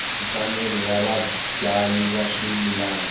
mfanelo ya vabyali va swimila